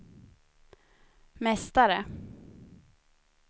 mästare